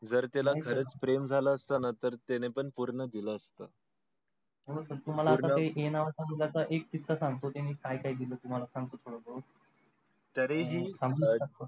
जर त्याला पण प्रेम झाला असत ना त त्याने पण पूर्ण दिल असत तुम्हला ये नावाच्या मुलाचा एक किस्सा सांगतो त्यांनी काय काय केलं तुम्हाला सांगतो खरोखर तरी हि